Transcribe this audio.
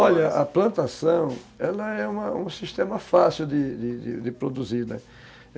Olha, a plantação, ela é uma um sistema fácil de produzir, né?